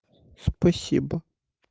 спасибо